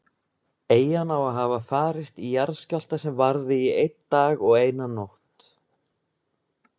Eyjan á að hafa farist í jarðskjálfta sem varði í einn dag og eina nótt.